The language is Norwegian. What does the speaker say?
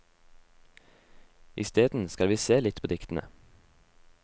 Isteden skal vi se litt på diktene.